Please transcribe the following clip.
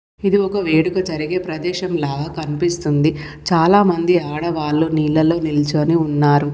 ఇది ఒక వేడుక జరిగే ప్రదేశం లాగా కనిపిస్తుంది. చాలా మంది ఆడవాళ్లు నీళ్లలో నిల్చోని ఉన్నారు.